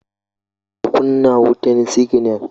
ka kunna wutan siginal?